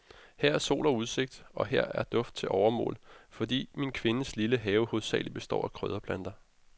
Her er sol og udsigt, og her er duft til overmål, fordi min kvindes lille have hovedsagelig består af krydderplanter.